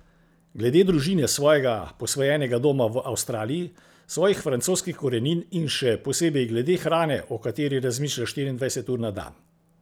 Glede družine, svojega posvojenega doma v Avstraliji, svojih francoskih korenin in še posebej glede hrane, o kateri razmišlja štiriindvajset ur na dan.